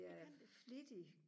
det kan det